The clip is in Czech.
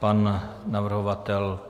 Pan navrhovatel?